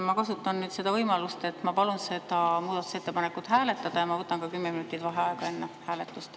Ma kasutan nüüd seda võimalust, et ma palun seda muudatusettepanekut hääletada ja ma võtan ka kümme minutit vaheaega enne hääletust.